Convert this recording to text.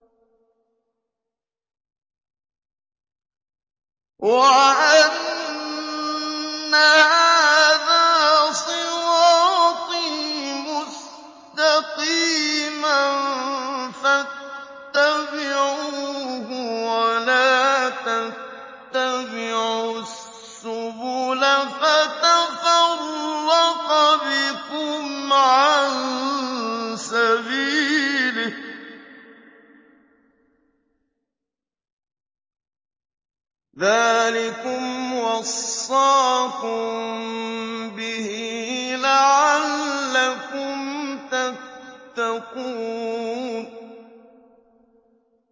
وَأَنَّ هَٰذَا صِرَاطِي مُسْتَقِيمًا فَاتَّبِعُوهُ ۖ وَلَا تَتَّبِعُوا السُّبُلَ فَتَفَرَّقَ بِكُمْ عَن سَبِيلِهِ ۚ ذَٰلِكُمْ وَصَّاكُم بِهِ لَعَلَّكُمْ تَتَّقُونَ